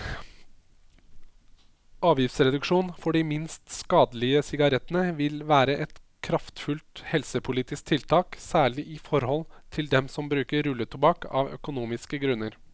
Avgiftsreduksjon for de minst skadelige sigarettene vil være et kraftfullt helsepolitisk tiltak, særlig i forhold til dem som bruker rulletobakk av økonomiske grunner.